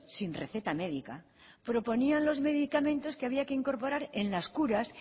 sin receta médica proponían los medicamentos que había que incorporar en las curas